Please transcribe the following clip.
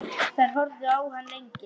Þær horfðu á hann lengi.